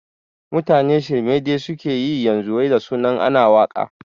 Mutane shirme dai suke yi yanzu wai da sunan ana waƙa